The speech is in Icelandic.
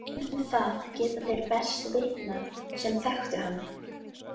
Um það geta þeir best vitnað sem þekktu hann.